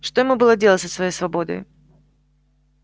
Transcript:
что ему было делать со своей свободой